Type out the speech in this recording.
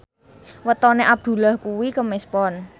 wetone Abdullah kuwi Kemis Pon